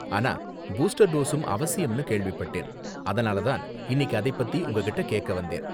ஆனா பூஸ்டர் டோஸும் அவசியம்னு கேள்விப்பட்டேன், அதனால தான் இன்னிக்கி அதை பத்தி உங்ககிட்டே கேக்க வந்தேன்.